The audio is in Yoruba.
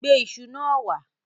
Gbé iṣu náà wá.